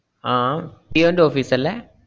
ആഹ് ജിയോന്‍റെ ഓഫീസ് അല്ലേ?